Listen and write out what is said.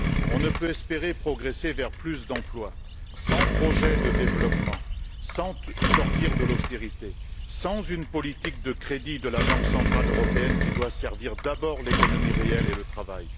On ne peut espérer progresser vers plus d'emplois sans projet de développement, sans sortir de l'austérité, sans une politique de crédit de la Banque centrale européenne qui doit d'abord servir l'économie réelle et le travail.